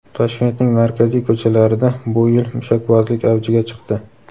Toshkentning markaziy ko‘chalarida bu yil mushakbozlik avjiga chiqdi.